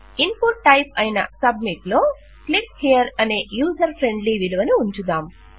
input type అయిన submit లో click హియర్అనే యూజర్ ఫ్రెండ్లీ విలువను ఉంచుదాం